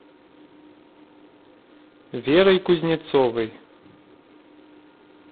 верой кузнецовой